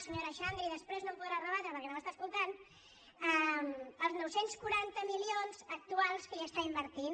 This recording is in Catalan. senyora xandri després no m’ho podrà rebatre perquè no m’està escoltant als nou cents i quaranta milions actuals que hi està invertint